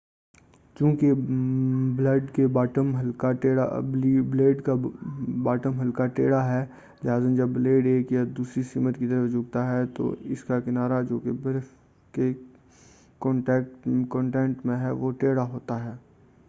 چوں کہ بلیڈ کا باٹم ہلکا ٹیڑھا ہے لہذا جب بلیڈ ایک یا دوسری سمت جھکتا ہے تو اس کا کنارہ جو برف کے کنٹیکٹ میں ہے وہ بھی ٹیڑھا ہو جاتا ہے